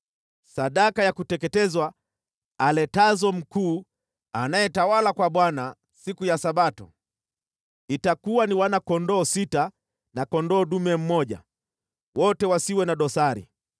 Sadaka ya kuteketezwa aletazo mkuu anayetawala kwa Bwana siku ya Sabato itakuwa ni wana-kondoo sita na kondoo dume mmoja, wote wasiwe na dosari.